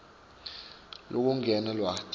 lokulingene lwati